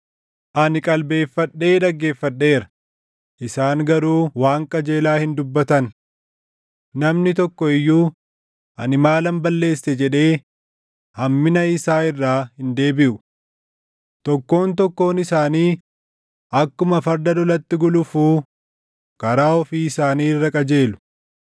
Ani qalbeeffadhee dhaggeeffadheera; isaan garuu waan qajeelaa hin dubbatan. Namni tokko iyyuu, “Ani maalan balleesse?” jedhee hammina isaa irraa hin deebiʼu. Tokkoon tokkoon isaanii akkuma farda lolatti gulufuu karaa ofii isaanii irra qajeelu.